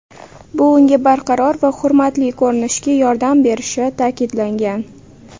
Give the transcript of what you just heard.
Bu unga barqaror va hurmatli ko‘rinishga yordam berishi ta’kidlangan.